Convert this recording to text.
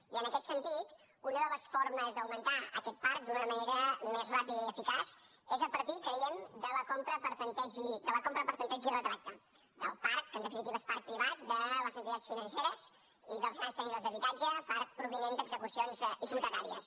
i en aquest sentit una de les formes d’augmentar aquest parc d’una manera més ràpida i eficaç és a partir creiem de la compra per tempteig i retracte del parc que en definitiva és parc privat de les entitats financeres i dels grans tenidors d’habitatge parc provinent d’execucions hipotecàries